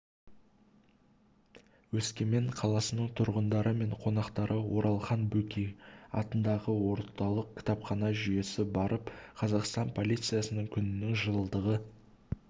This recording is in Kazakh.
өскемен қаласының тұрғындары мен қонақтары оралхан бөкей атындағы орталық кітапхана жүйесі барып қазақстан полициясы күнінің жылдығы